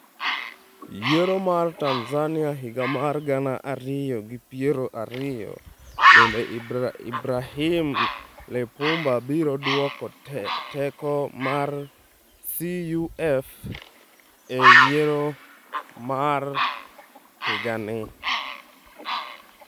Yiero mar Tanzania higa mar gana ariyo gi piero ariyo: Bende Ibrahim Lipumba biro duoko teko mar CUF e yiero mar higa ni?